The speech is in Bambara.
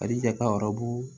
Alijeta ɔrɔbu